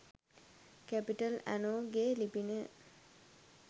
capital ඇනෝ ගේ ලිපිනය